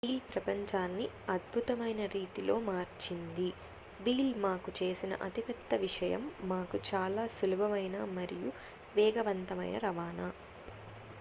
wheel ప్రపంచాన్ని అద్భుతమైన రీతిలో మార్చింది వీల్ మాకు చేసిన అతిపెద్ద విషయం మాకు చాలా సులభమైన మరియు వేగవంతమైన రవాణా